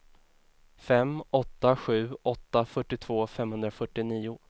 fem åtta sju åtta fyrtiotvå femhundrafyrtionio